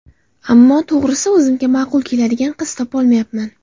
Ammo, to‘g‘risi, o‘zimga ma’qul keladigan qiz topolmayapman.